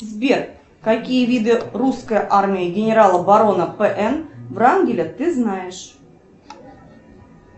сбер какие виды русской армии генерала барона п н врангеля ты знаешь